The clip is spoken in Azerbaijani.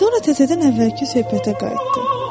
Sonra təzədən əvvəlki söhbətə qayıtdı.